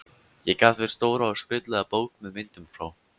Ég gaf þeim stóra og skrautlega bók með myndum frá